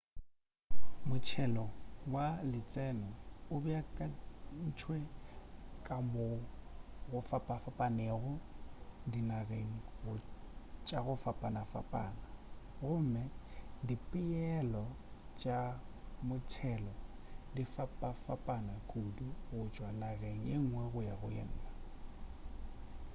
motšhelo wa letseno o beakantšwe ka mo go fapafapanego dinageng tša go fapafapana gomme dipeelo tša motšhelo di fapafapana kudu go tšwa nageng ye ngwe go ya go ye nwge